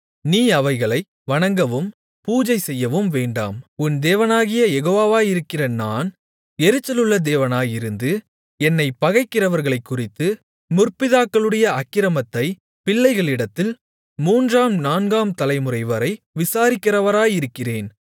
நீ அவைகளை வணங்கவும் பூஜை செய்யவும் வேண்டாம் உன் தேவனாகிய யெகோவாவாயிருக்கிற நான் எரிச்சலுள்ள தேவனாயிருந்து என்னைப் பகைக்கிறவர்களைக்குறித்து முற்பிதாக்களுடைய அக்கிரமத்தைப் பிள்ளைகளிடத்தில் மூன்றாம் நான்காம் தலைமுறைவரை விசாரிக்கிறவராயிருக்கிறேன்